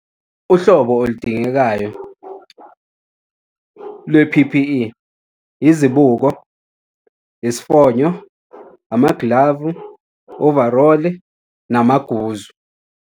Uhlobo oludingekayo lwe-P_P_E, izibuko, isifonyo, amaglavu, overall-i namaguzu.